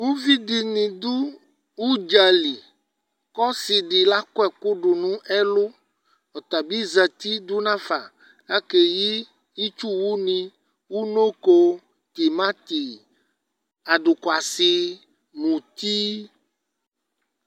uvi di ni do udzali k'ɔsi di lakɔ ɛkò do n'ɛlu ɔtabi zati do n'afa k'ake yi itsu wo ni unoko tomati adokwasi muti